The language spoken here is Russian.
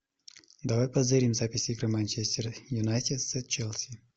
давай позырим запись игры манчестер юнайтед с челси